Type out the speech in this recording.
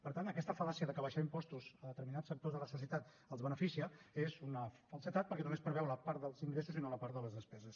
per tant aquesta fal·làcia de que abaixar impostos a determinats sectors de la societat els beneficia és una falsedat perquè només preveu la part dels ingressos i no la part de les despeses